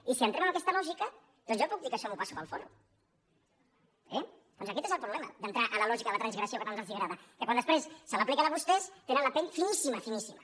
i si entrem en aquesta lògica doncs jo puc dir que això m’ho passo pel folro eh doncs aquest és el problema d’entrar a la lògica de la transgressió que tant els agrada que quan després se l’apliquen a vostès tenen la pell finíssima finíssima